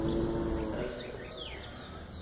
Eldsneytisverð lækkar